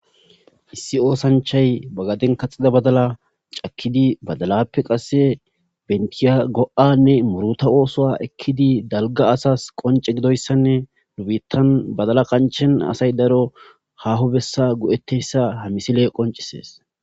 issi oosanchay bagaden kaxida badala cakkidi badalappe qasse bentiyago7anne muruta oosoa ekkidi dalga asas qonce gidoyssanne nubittan badala kanchen asay daro haho bessa go7etteyssa ha misile qoncisees